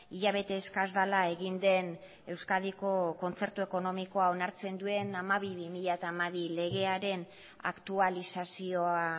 hilabete eskas dela egin den euskadiko kontzertu ekonomikoa onartzen duen hamabi barra bi mila hamabi legearen aktualizazioa